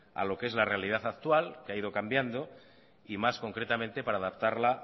a lo que es la realidad actual que ha ido cambiando y más concretamente para adaptarla